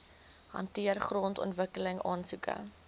hanteer grondontwikkeling aansoeke